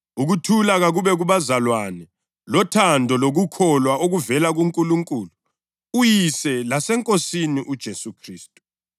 Ngimthuma kini ngenjongo yokuthi likwazi ukuthi sinjani lokuthi alikhuthaze.